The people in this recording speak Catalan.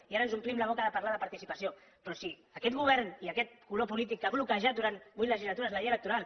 i ara ens omplim la boca de parlar de participació però sí aquest govern i aquest color polític que ha bloquejat durant vuit legislatures la llei electoral